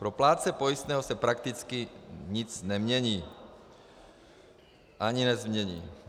Pro plátce pojistného se prakticky nic nemění ani nezmění.